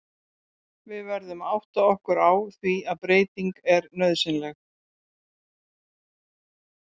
Við verðum að átta okkur á því að breyting er nauðsynleg.